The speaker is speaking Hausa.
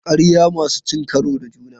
Ƙarya masu cin karo da juna.